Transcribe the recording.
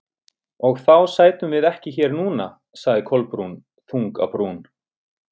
Og þá sætum við ekki hér núna- sagði Kolbrún, þung á brún.